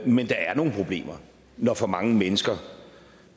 men der er nogle problemer når for mange mennesker